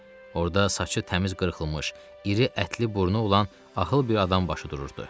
Orda saçı təmiz qırxılmış, iri ətli burnu olan axıl bir adam başı dururdu.